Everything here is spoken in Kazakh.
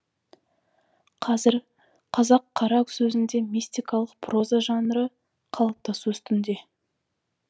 қазір қазақ қара сөзінде мистикалық проза жанры қалыптасу үстінде